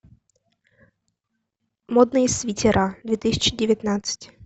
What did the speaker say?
модные свитера две тысячи девятнадцать